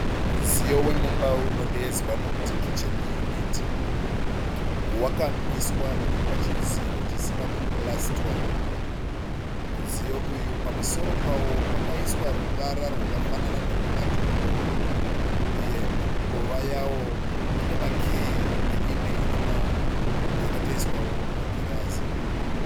Mudziyo wemumba unodeedzwa nokuti kicheni yuniti .Wakamiswa uri pachidziro chisina kupurasitwa. Mudziyo uyu pamusoro pawo pakaiswa ruvara rwakafanana nerwematombo. Uye mikova yawo ine makiyi neimwe yakatoiswawo magirazi.